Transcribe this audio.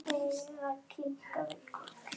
Heiða kinkaði kolli.